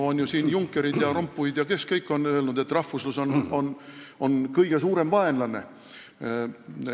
Kõik need Junckerid ja Rompuyd on ju öelnud, et rahvuslus on kõige suurem vaenlane.